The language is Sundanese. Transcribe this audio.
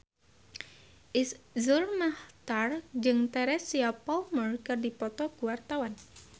Iszur Muchtar jeung Teresa Palmer keur dipoto ku wartawan